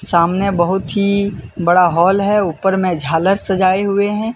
सामने बहुत ही बड़ा हॉल है। ऊपर में झालर सजाए हुए हैं।